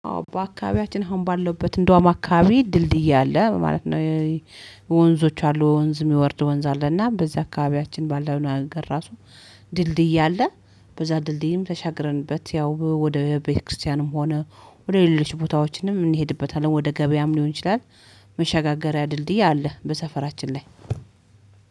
አዎ በአካባቢያችን አሁን ባለውበት እንደውም አካባቢ ድልድይ አለ ማለት ነው። ወንዞች አሉ ወንዝ የሚወርድ ወንዝ አለ። እና በዚህ አካባቢያችን ባለው ራሱ ድልድይ አለ በዛ ድልድይም ተሻግረንበት ያው ወደ ቤተክርስቲያንም ሆነ ወደ ሌሎች ቦታዎችንም እንሄድበታለን። ወደ ገበያም ሊሆን ይችላል፤ መሸጋገሪያ ድልድይ አለ በሰፈራችን ላይ።